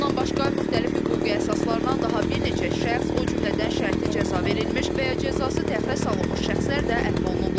Bundan başqa müxtəlif hüquqi əsaslarla daha bir neçə şəxs, o cümlədən şərti cəza verilmiş və ya cəzası təxirə salınmış şəxslər də əfv olunublar.